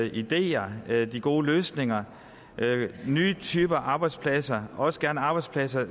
ideer kan de gode løsninger nye typer arbejdspladser også gerne arbejdspladser